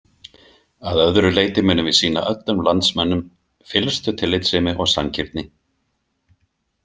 Að öðru leyti munum við sýna öllum landsmönnum fyllstu tillitssemi og sanngirni.